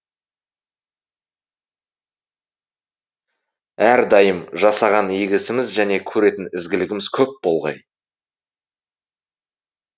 әрдайым жасаған игі ісіміз және көретін ізгілігіміз көп болғай